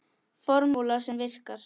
Formúla sem virkar.